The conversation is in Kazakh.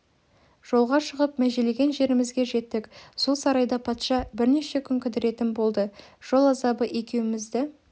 жолға шығып межелеген жерімізге жеттік сол сарайда патша бірнеше күн кідіретін болды жол азабы екеумізді